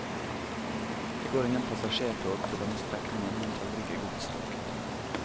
Det går ingen passasjertog på denne strekningen, men tallrike godstog.